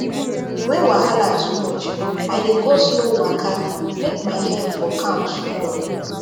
when wahala too much i dey go slow waka make my head for calm small